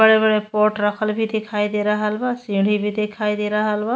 बड़े बड़े पॉट रखल भी दिखाई दे रहल बा सीढ़ी भी दिखाई दे रहल बा।